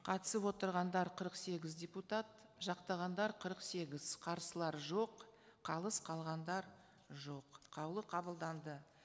қатысып отырғандар қырық сегіз депутат жақтағандар қырық сегіз қарсылар жоқ қалыс қалғандар жоқ қаулы қабылданды